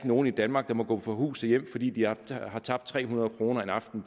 nogen i danmark der må gå fra hus og hjem fordi de har har tabt tre hundrede kroner en aften